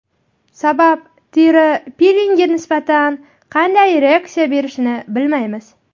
Sababi teri pilingga nisbatan qanday reaksiya berishini bilmaymiz.